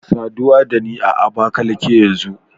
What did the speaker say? Saduwa da ni a Abakalaki yanzu